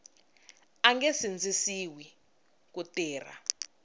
a nge sindzisiwi ku tirha